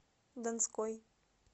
донской